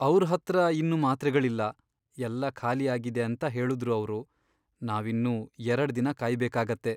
ಅವ್ರ್ ಹತ್ರ ಇನ್ನು ಮಾತ್ರೆಗಳಿಲ್ಲ, ಎಲ್ಲ ಖಾಲಿ ಆಗಿದೆ ಅಂತ ಹೇಳುದ್ರು ಅವ್ರು. ನಾವಿನ್ನೂ ಎರಡ್ ದಿನ ಕಾಯ್ಬೇಕಾಗತ್ತೆ.